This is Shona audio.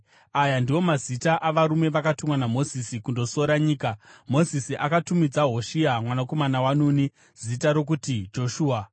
Aya ndiwo mazita avarume vakatumwa naMozisi kundosora nyika. (Mozisi akatumidza Hoshea mwanakomana waNuni zita rokuti Joshua).